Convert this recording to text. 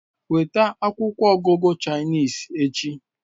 Weta akwụkwọ ọgụgụ Chinese echi